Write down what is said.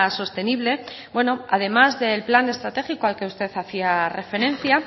sostenible bueno además del plan estratégico al que usted hacía referencia